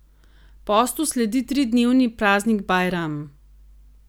Postu sledi tridnevni praznik bajram.